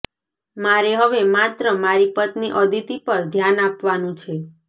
મારે હવે માત્ર મારી પત્ની અદિતિ પર ધ્યાન આપવાનું છે